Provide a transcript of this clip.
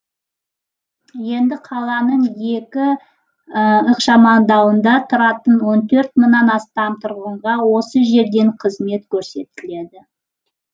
енді қаланың екі ықшамауданында тұратын он төрт мыңнан астам тұрғынға осы жерден қызмет көрсетіледі